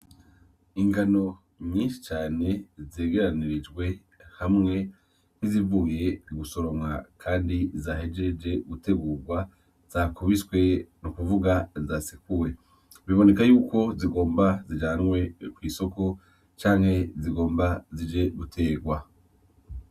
Ingano nyinshi cane zegeranirijwe hamwe nkizivuye gusoromwa kandi zahejeje gutegurwa, zakubiswe ni ukuvuga zasekuwe . Biboneka yuko zigomba zijanwe kw‘ isoko canke zigomba zije guterwa .